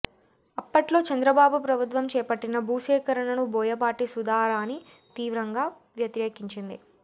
అప్పట్లో చంద్రబాబు ప్రభుత్వం చేపట్టిన భూసేకరణను బోయపాటి సుధారాణి తీవ్రంగా వ్యతిరేకించింది